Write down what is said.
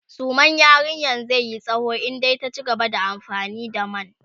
suman yarinyan zaiyi tsawo in dai ta cigaba da amfani da man